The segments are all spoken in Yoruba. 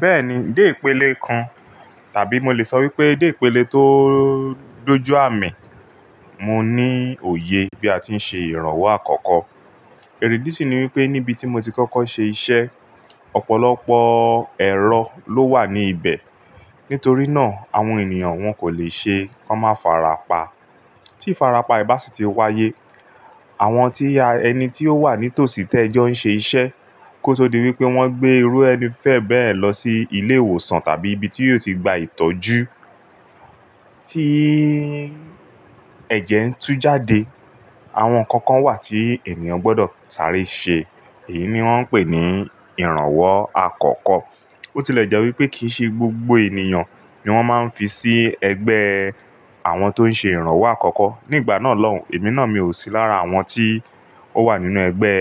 Bẹ́ẹ̀ni, dé ìpele kan tàbí mo lè sọ wípé dé ìpele tó dójuàmì, mo ní òye bí a ti ń ṣe ìrànwọ́ àkọ́kọ́. Èrèdí sí ní wípé níbi tí mo ti kọ́kọ́ ṣe iṣẹ́, ọ̀pọ̀lọpọ̀ ẹ̀rọ ló wà ní ibẹ̀. Nítorí náà, àwọn ènìyàn wọn kò lè ṣe, wọ́n má farapa. Tí ifarapa bá sì ti wáyé, àwọn tí a, ẹni tí ó wà ní tòsí tẹ́ n jọ ṣe iṣẹ́, kó tó di wípé wọ́n gbé irú ẹni fẹ́ bẹ́ẹ̀ lọ sí ilé ìwòsàn tàbí ibi tí yóò ti gba ìtọ́jú. Tí ẹ̀jẹ̀ ń tú jáde, àwọn ǹnkan kan wà tí ènìyàn gbọ́dọ̀ sáré ṣe. Èyí ni wọ́n ń pè ní ìrànwọ́ àkọ́kọ́. Botile jẹ́ wípé kì í ṣe gbogbo ènìyàn ni wọ́n máa ń fi sí ẹgbẹ́ àwọn tó ń ṣe ìrànwọ́ àkọ́kọ́. Nígbà náà lọ̀ún, èmi náà mi ò sí lára àwọn tí ó wà nínú ẹgbẹ́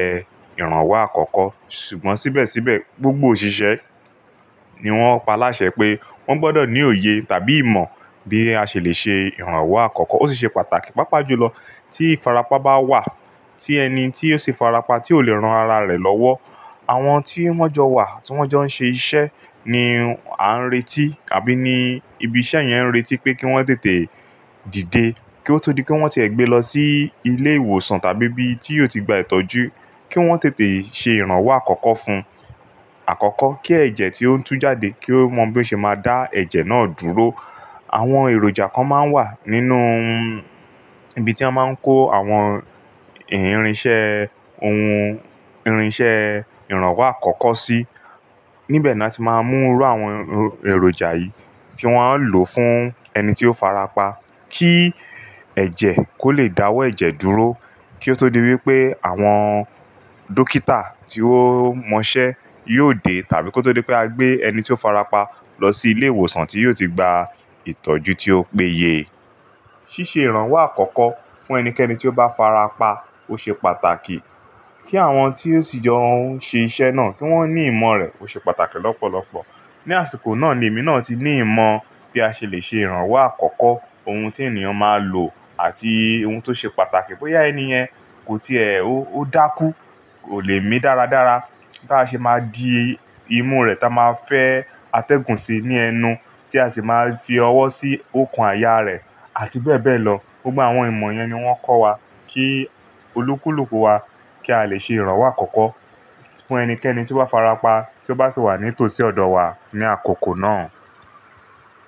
ìrànwọ́ àkọ́kọ́. Ṣùgbọ́n síbẹ̀síbẹ̀ gbogbo òṣìṣẹ́ ni wọ́n paláṣẹ pé wọ́n gbọ́dọ̀ ní òye tàbí ìmọ̀ bí a ṣè lè ṣe ìrànwọ́ àkọ́kọ́. Ó sì ṣe pàtàkì, pàápàá jùlọ, tí farapa bá wà, tí ẹni tí ó ṣe farapa tí ò lè ran ara rẹ̀ lọ́wọ́, àwọn tí wọ́n jọ wà, tí wọ́n jọ ń ṣe iṣẹ́ ni à ń retí tàbí ní ibi iṣẹ́ yẹn ń retí pé kí wọ́n tètè dìde. Kí ó tó di wípé wọ́n ti ẹ gbé lọ sí ilé ìwòsàn tàbí ibi tí yóò ti gba ìtọ́jú, kí wọ́n tètè ṣe ìrànwọ́ àkọ́kọ́ fún-- àkọ́kọ́, kí ẹ̀jẹ̀ tí ó ń tú jáde kí ó mọ bí ó ṣe máa dá ẹ̀jẹ̀ náà dúró. Àwọn èròjà kan máa ń wà nínú ibi tí a máa ń kó àwọn ìrinṣẹ́ ohun, irinṣẹ́ ìrànwọ́ àkọ́kọ́ sí. Níbẹ̀ ni a ti máa ń mú irú àwọn èròjà yìí tí wọ́n á lò fún ẹni tí ó farapa, kí ẹ̀jẹ̀ kó lè dáwọ́ ẹ̀jẹ̀ dúró kí ó tó di wípé àwọn dókítà tí ó mọ iṣẹ́ yóò dé tàbí kó tó di wípé a gbé ẹni tí ó farapa lọ sí ilé ìwòsàn tí yóò ti gba ìtọ́jú tí ó péye. Síṣe ìrànwọ́ àkọ́kọ́ fún ẹnikẹ́ni tí ó bá farapa ó ṣe pàtàkì. Kí àwọn tí ó sì jọ ń ṣe iṣẹ́ náà kí wọ́n ní ìmọ̀ rẹ̀ ó ṣe pàtàkì lọ́pọ̀lọpọ̀. Ni àsìkò náà ni èmi náà ti ní ìmọ̀ bí a ṣe lè ṣe ìrànwọ́ àkọ́kọ́, ohun tí ènìyàn máa lò àti ohun tó ṣe pàtàkì bóyá ẹni yẹn kò tí è ó dákú, kò le mí dáradára. Bá ṣe máa di imú rẹ̀ táa máa fẹ́ atẹ́gùn sí ní ẹnu tí a sì máa fi ọwọ́ sí òokan àyà rẹ̀ àti bẹ́ẹ̀ bẹ́ẹ̀ lọ. Gbogbo àwọn ìmọ̀ yẹn ni wọ́n kọ́ wa kí olúkúlùkù wa kí a lè ṣe ìrànwọ́ àkọ́kọ́ fún ẹnikẹ́ni tí ó bá farapa tí ó bá sì wà ní tòsí ọ̀dọ̀ wa ní àkókò náà.